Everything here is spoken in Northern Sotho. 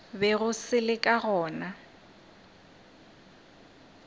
bego se le ka gona